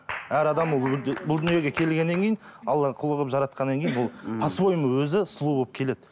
әр адам ол бұл дүниеге келгеннен кейін алланың құлы қылып жаратқаннан кейін ол по своему өзі сұлу болып келеді